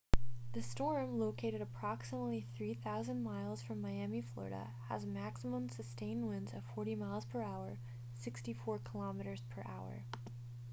the storm located approximately 3,000 miles from miami florida has maximum sustained winds of 40 mph 64 kph